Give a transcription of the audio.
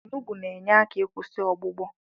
Onugbo na-enye aka ikwụsị ọgbụgbọ.